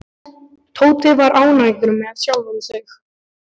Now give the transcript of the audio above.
Tóti var ánægður með sjálfan sig.